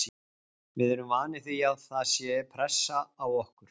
Við erum vanir því að það sé pressa á okkur.